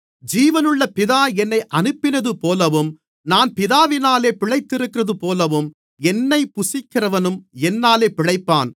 ஜீவனுள்ள பிதா என்னை அனுப்பினதுபோலவும் நான் பிதாவினால் பிழைத்திருக்கிறதுபோலவும் என்னைப் புசிக்கிறவனும் என்னாலே பிழைப்பான்